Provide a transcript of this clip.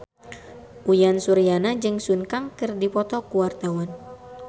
Uyan Suryana jeung Sun Kang keur dipoto ku wartawan